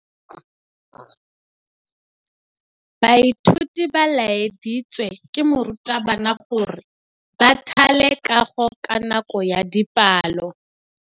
Baithuti ba laeditswe ke morutabana gore ba thale kagô ka nako ya dipalô.